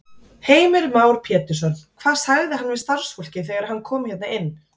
Heimir Már Pétursson: Hvað sagði hann við starfsfólkið þegar hann kom hérna inn?